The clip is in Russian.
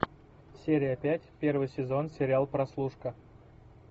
серия пять первый сезон сериал прослушка